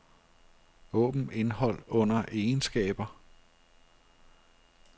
Åbn indhold under egenskaber.